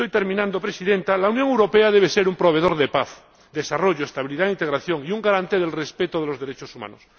La Unión Europea debe ser un proveedor de paz, desarrollo, estabilidad e integración y un garante del respeto de los derechos humanos.